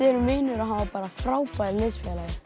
erum vinir og hann var frábær liðsfélagi